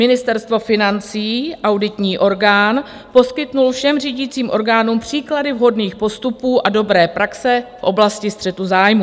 Ministerstvo financí, auditní orgán, poskytl všem řídícím orgánům příklady vhodných postupů a dobré praxe v oblasti střetu zájmů.